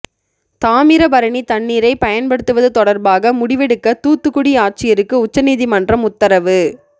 தாமிரபரணி தண்ணீரை பயன்படுத்துவது தொடர்பாக முடிவெடுக்க தூத்துக்குடி ஆட்சியருக்கு உச்சநீதிமன்றம் உத்தரவு